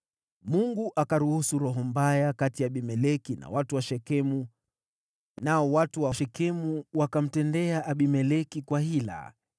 Mungu akaruhusu roho mbaya kati ya Abimeleki na watu wa Shekemu, nao watu wa Shekemu wakamtendea Abimeleki kwa hila.